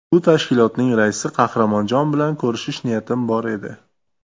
Bu tashkilotning raisi Qahramonjon bilan ko‘rishish niyatim bor edi.